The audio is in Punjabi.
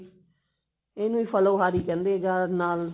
ਇਹਨੂੰ ਹੀ ਫ੍ਲੋਹਾਰੀ ਕਹਿੰਦੇ ਜਾਂ ਨਾਲ